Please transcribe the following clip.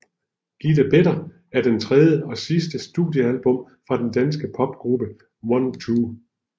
Getting Better er det tredje og sidste studiealbum fra den danske popgruppe OneTwo